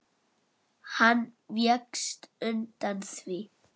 Hann vékst undan því.